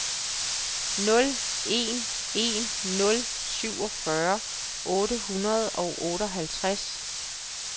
nul en en nul syvogfyrre otte hundrede og otteoghalvtreds